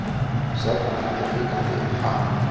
Sjaldan hlýtur hikandi happ.